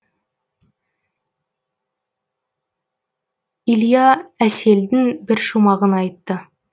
илья әселдің бір шумағын айтты